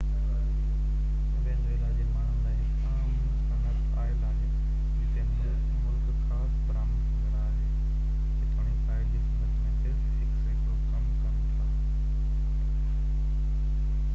Venezuela جي ماڻهن لاءِ هڪ اهم صنعت آئل آهي جتي ملڪ خالص برآمد ڪندڙ آهي جيتوڻيڪ آئل جي صنعت ۾ صرف هڪ سيڪڙو ڪم ڪن ٿا